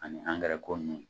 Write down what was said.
Ani angɛrɛ ko ninnu